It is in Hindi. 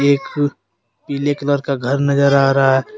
एक पीले कलर का घर नजर आ रहा है।